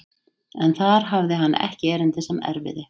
En þar hafði hann ekki erindi sem erfiði.